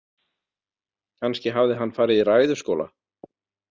Kannski hafði hann farið í ræðuskóla?